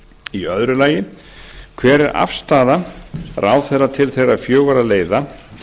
í öðru lagi hver er afstaða ráðherra til þeirra fjögurra leiða